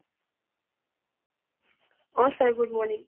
O sir good morning